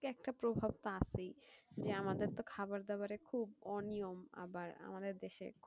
এটার একটা প্রভাব তো আসবেই যে আমাদের তো খাবার দাবড়ে খুব অনিয়ম আবার আমাদের দেশে